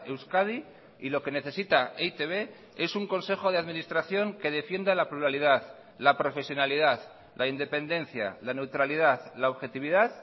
euskadi y lo que necesita e i te be es un consejo de administración que defienda la pluralidad la profesionalidad la independencia la neutralidad la objetividad